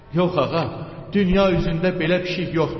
Yox ağa, dünya üzündə belə pişik yoxdur.